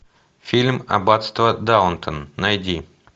фильм аббатство даунтон найди